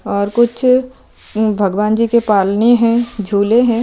और कुछ भगवान् जी की पालने है झूले है।